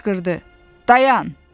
Qışqırdı: Dayan!